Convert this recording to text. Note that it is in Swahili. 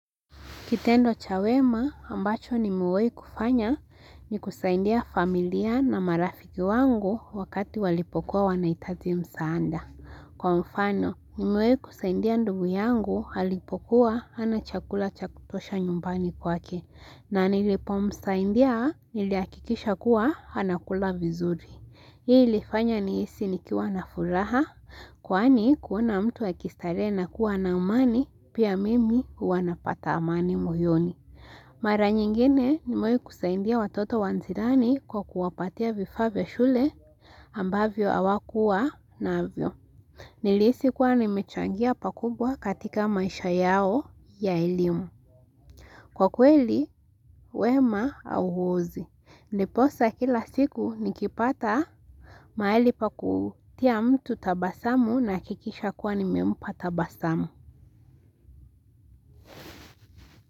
Kitendo cha wema ambacho nimewahi kufanya ni kusaidia familia na marafiki wangu wakati walipokuwa wanahitaji msaada. Kwa mfano nimewahi kusaidia ndugu yangu alipokuwa hana chakula cha kutosha nyumbani kwake. Na nilipomsaidia nilihakikisha kuwa anakula vizuri. Hii ilifanya nihisi nikiwa na furaha, kwani kuona mtu akistarehe na kuwa ana amani, pia mimi huwa napata amani moyoni. Mara nyingine nimewahi kusaidia watoto wa jirani kwa kuwapatia vifaa vya shule ambavyo hawakuwa navyo. Nilihisi kuwa nimechangia pakubwa katika maisha yao ya elimu. Kwa kweli, wema hauozi. Ndiposa kila siku nikipata mahali pa kutia mtu tabasamu nahakikisha kuwa nimempa tabasamu.